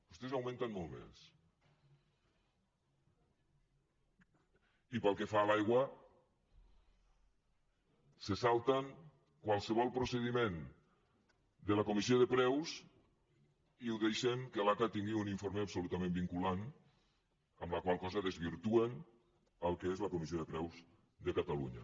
vostès augmenten molt més i pel que fa a l’aigua se salten qualsevol procediment de la comissió de preus i ho deixen que l’aca tingui un informe absolutament vinculant amb la qual cosa desvirtuen el que és la comissió de preus de catalunya